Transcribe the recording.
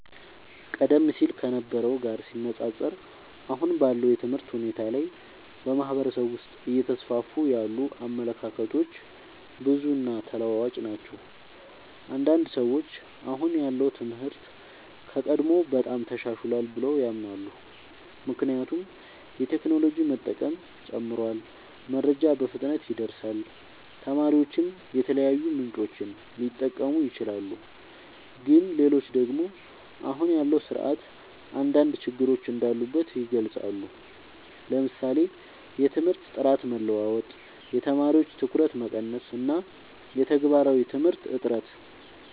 ቀደም ሲል ከነበረው ጋር ሲነፃፀር፣ አሁን ባለው የትምህርት ሁኔታ ላይ በማህበረሰብ ውስጥ እየተስፋፉ ያሉ አመለካከቶች ብዙ እና ተለዋዋጭ ናቸው። አንዳንድ ሰዎች አሁን ያለው ትምህርት ከቀድሞው በጣም ተሻሽሏል ብለው ያምናሉ። ምክንያቱም የቴክኖሎጂ መጠቀም ጨምሯል፣ መረጃ በፍጥነት ይደርሳል፣ ተማሪዎችም የተለያዩ ምንጮችን ሊጠቀሙ ይችላሉ። ግን ሌሎች ደግሞ አሁን ያለው ስርዓት አንዳንድ ችግሮች እንዳሉበት ይገልጻሉ፤ ለምሳሌ የትምህርት ጥራት መለዋወጥ፣ የተማሪዎች ትኩረት መቀነስ እና የተግባራዊ ትምህርት እጥረት።